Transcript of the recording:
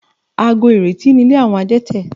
Àgọ́ìrètí ni ilé àwọn Adétẹ̀